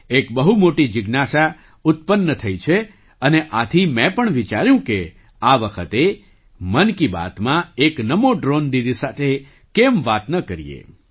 એક બહુ મોટી જિજ્ઞાસા ઉત્પન્ન થઈ છે અને આથી મેં પણ વિચાર્યું કે આ વખતે મન કી બાતમાં એક નમો ડ્રૉન દીદી સાથે કેમ વાત ન કરીએ